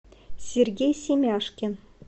сергей семяшкин